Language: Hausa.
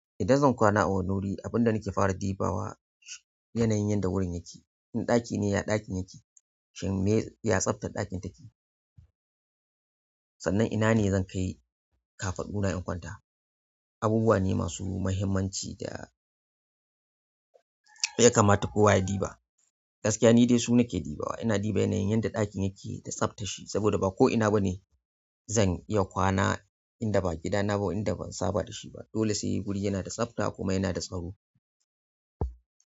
Idan zan kwana a wani wuri, abin da nake fara diba wa yanayin yanda wurin yake. In ɗaki ne, ya ɗakin yake? Shin me ya tsaftar ɗakin take? Sannan ina ne zan kai kafaɗuna in kwata abubuwane masu muhimmanci da yakamata kowa ya ɗiba. Gaskiya ni dai su nake diba wa. Ina ɗiba yanayin yadda ɗakin yake da tsaftar shi saboda ba ko ina ba ne zan iya kwana inda ba gidana ba, inda ban saba da shi ba. Dole sai wuri yana da tsafta kuma yana da tsaro.